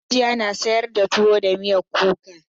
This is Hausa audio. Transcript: Hajiya na sayar da tuwo da miyar kuka.